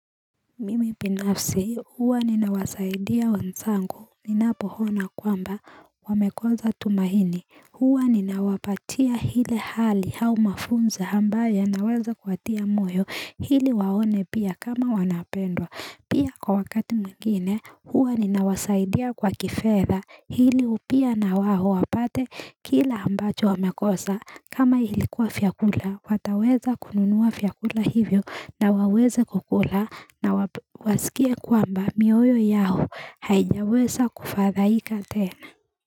Mimi binafsi huwa ninawasaidia wanzangu ninapo hona kwamba wamekoza tumahini huwa ninawapatia hile hali au mafunzo ambayo ya naweza kuwatia moyo hili waone pia kama wanapendwa Pia kwa wakati mwingine huwa ninawasaidia kwa kifedha hili pia na wao wapate kile ambacho wamekosa kama ilikuwa vyakula wataweza kununua vyakula hivyo na waweze kukula na wasikie kwamba mioyo yao haijawesa kufadhaika tena.